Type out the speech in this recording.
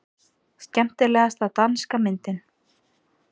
Skemmtilegasta danska myndin